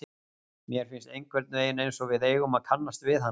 Mér finnst einhvern veginn einsog við eigum að kannast við hana.